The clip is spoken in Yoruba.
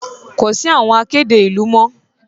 Kò sí àwọn akéde ìlú mọ́.